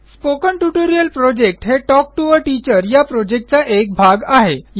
spoken tutorial project हे talk to teacher या प्रॉजेक्टचा एक भाग आहे